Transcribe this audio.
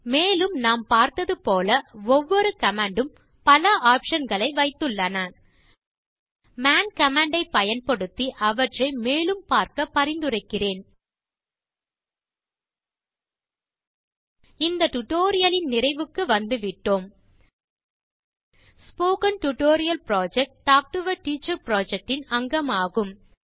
மேலும் நாம் பார்த்தது போல ஒவ்வொரு கமாண்ட் ம் பல ஆப்ஷன் களை வைத்துள்ளன மான் கமாண்ட் ஐப் பயன்படுத்தி அவற்றை மேலும் பார்க்க பரிந்துரைக்கிறேன் இந்த டியூட்டோரியல் லின் நிறைவுக்கு வந்துவிட்டோம் spoken tutorial project talk to a teacher project இன் அங்கமாகும்